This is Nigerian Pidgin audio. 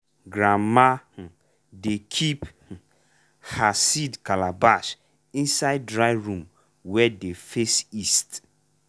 grandma um dey keep um her seed calabash inside dry room wey dey face east.